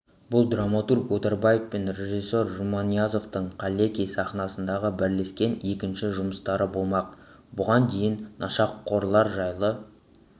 бұл драматург отарбаев пен режиссер жұманиязовтың қаллеки сахнасындағы бірлескен екінші жұмыстары болмақ бұған дейін нашақорлар жайлы